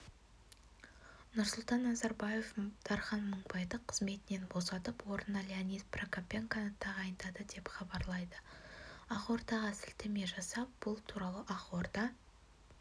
нұрсұлтан назарбаев дархан мыңбайды қызметінен босатып орнына леонид прокопенконы тағайындады деп хабарлайды ақордаға сілтеме жасап бұл туралы ақорда